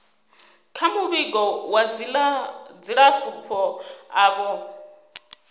kha muvhigo wa dzilafho avho